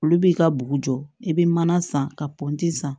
Olu b'i ka bugu jɔ i bɛ mana san ka pɔnti san